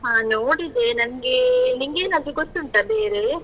ಹಾ ನೋಡಿದೆ. ನನ್ಗೆ ನಿಂಗೇನಾದ್ರೂ ಗೊತ್ತುಂಟ ಬೇರೆ?